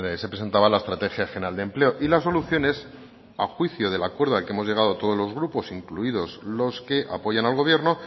se presentaba la estrategia general de empleo y las soluciones a juicio del acuerdo al que hemos llegado todos los grupos incluidos los que apoyan al gobierno